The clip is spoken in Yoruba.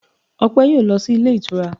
Ọpẹ yóò lọ sí ilé ìtura